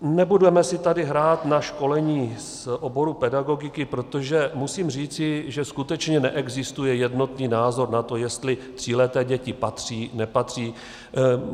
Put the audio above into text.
Nebudeme si tady hrát na školení z oboru pedagogiky, protože musím říci, že skutečně neexistuje jednotný názor na to, jestli tříleté děti patří, nepatří.